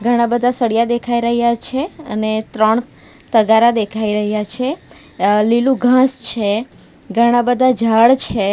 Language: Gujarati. ઘણા બધા સળિયા દેખાઈ રહ્યા છે અને ત્રણ તગારા દેખાઈ રહ્યા છે અહ લીલુ ઘાસ છે ઘણા બધા ઝાડ છે.